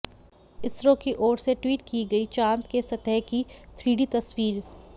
इसरो की ओर से ट्वीट की गई चांद के सतह की थ्री डी तस्वीर